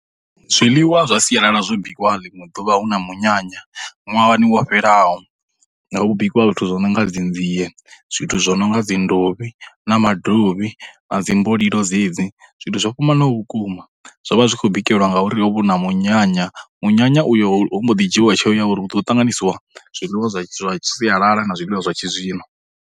Zwiḽiwa zwa siyalala zwo bikiwa ḽiṅwe ḓuvha hu na munyanya ṅwahani wo fhelaho, ho bikiwa zwithu zwo no nga dzinzie, zwithu zwo no nga dzindovhi na madovhi, na dzimbolilo dzedzi, zwithu zwo fhambanaho vhukuma, zwo vha zwi khou bikelwa ngauri ho vha huna munyanya, munyanya uyo ho ho mbo ḓi dzhiwa tsheo ya uri hu ḓo ṱanganyisiwa zwiḽiwa zwa zwa sialala na zwiḽiwa zwa tshizwino.